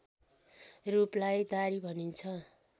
रूपलाई दारी भनिन्छ